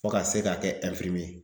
Fo ka se ka kɛ